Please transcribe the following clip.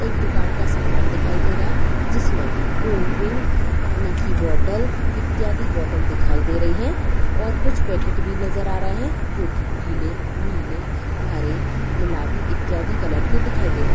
एक दुकान का सामान दिखाई दे रहा है जिसमें कोल्ड्रिंक पानी की बोटल इत्यादि बोटल दिखाई दे रही है और कुछ पैकेट भी नजर आ रहे है जो कि पिले नीले हरे गुलाबी इत्यादि कलर के दिखाइ दे--